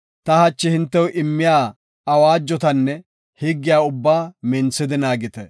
ta hachi hintew immiya awaajotanne higgiya ubbaa minthidi naagite.